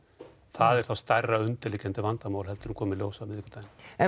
það er þá stærra undirliggjandi vandamál heldur en kom í ljós á miðvikudaginn en